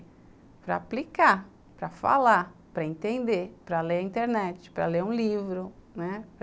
Para aplicar, para falar, para entender, para ler a internet, para ler um livro, né?